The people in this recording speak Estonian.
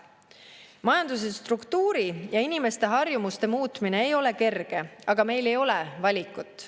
Majanduse struktuuri ja inimeste harjumuste muutmine ei ole kerge, aga meil ei ole valikut.